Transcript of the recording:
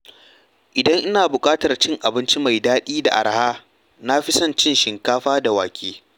Idan ina buƙatar cin abinci mai daɗi da araha, na fi son cin shinkafa da wake.